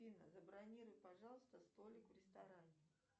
афина забронируй пожалуйста столик в ресторане